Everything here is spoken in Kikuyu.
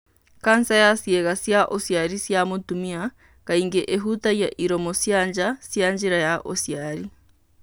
kanca ya ciĩga cia ũciari cia mũtumia kaingĩ ĩhutagia iromo cia nja cia njĩra ya ũciari.